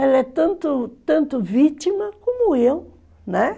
Ela é tanto tanto vítima como eu, né?